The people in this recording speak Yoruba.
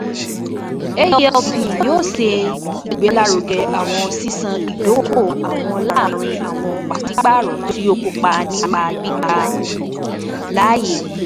AELP yoo ṣe igbelaruge awọn ṣiṣan idoko-owo laarin awọn paṣipaarọ ti o kopa nipa gbigba um laaye: